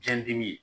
Biɲɛ dimi